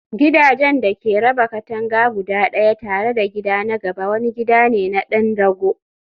gidajen da ke raba katanga guda ɗaya tare da gida na gaba wani gida ne na ɗan rago.